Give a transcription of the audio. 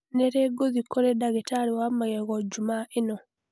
Nĩ rĩ ngũthiĩ kũrĩ ndagĩtarĩ wa magego Jumaa ĩno?